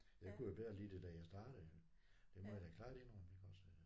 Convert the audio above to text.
Jeg kunne jo bedre lide det da jeg startede det må jeg klart indrømme iggås